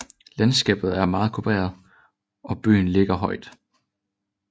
Landskabet er meget kuperet og byen ligger højt